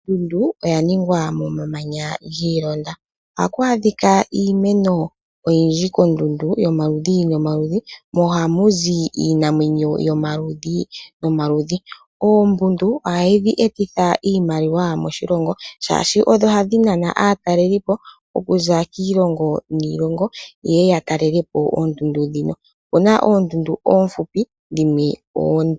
Ondundu oya ningwa momamanya giilonda ohaku adhika iimeno oyindji yomaludhi nomaludhi ko ohaku zi iinamwenyo yomaludhi nomaludhi. Oondundu ohadhi etitha iimaliwa moshilongo oshoka ohadhi etitha aatalelipo okuza kiilongo niilongo yeye yatalelepo oondundu dhino. Opena oondundu oofupi dhimwe oonde.